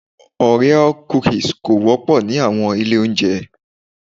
Orea cookies kò wópò ni àwon Ilé ijeun